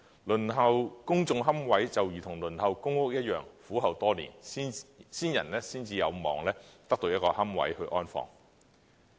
輪候公營龕位就如同輪候公共房屋一樣，苦候多年，先人才有望得到一個龕位安放。